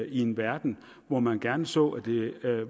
i en verden hvor man gerne så at det